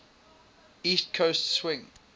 east coast swing